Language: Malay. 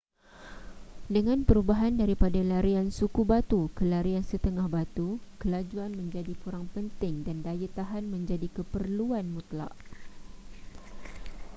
dengan perubahan daripada larian suku batu ke larian setengah batu kelajuan menjadi kurang penting dan daya tahan menjadi keperluan mutlak